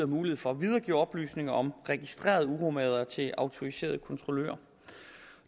mulighed for at videregive oplysninger om registrerede uromagere til autoriserede kontrollører